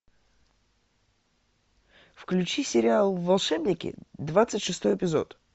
включи сериал волшебники двадцать шестой эпизод